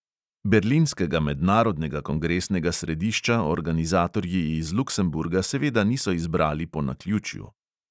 Berlinskega mednarodnega kongresnega središča organizatorji iz luksemburga seveda niso izbrali po naključju.